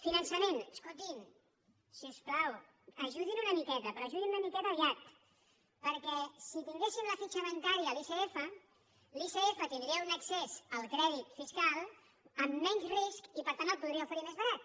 finançament escoltin si us plau ajudin una miqueta però ajudin una miqueta aviat perquè si tinguéssim la fitxa bancària a l’icf l’icf tindria un accés al crèdit fiscal amb menys risc i per tant el podria oferir més barat